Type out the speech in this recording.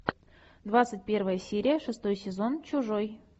двадцать первая серия шестой сезон чужой